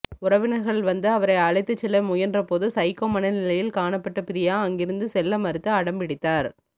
உறவினர்கள் வந்து அவரை அழைத்துச்செல்ல முயன்றபோது சைகோ மனநிலையில் காணப்பட்ட பிரியா அங்கிருந்து செல்லமறுத்து அடம்பிடித்தார்